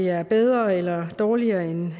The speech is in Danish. er bedre eller dårligere end